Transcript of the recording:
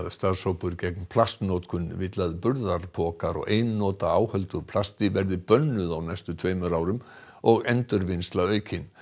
starfshópur gegn plastnotkun vill að burðarpokar og einnota áhöld úr plasti verði bönnuð á næstu tveimur árum og endurvinnsla aukin